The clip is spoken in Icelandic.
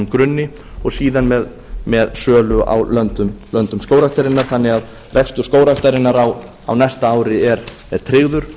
grunni og síðan með sölu á löndum skógræktarinnar þannig að rekstur skógræktarinnar á næsta ári er tryggður